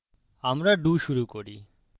আমরা do শুরু করি